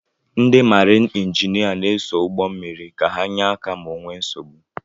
Ndị maarin injinia na-eso ụgbọ mmiri ka ha nyé áká ma o nwee nsogbu.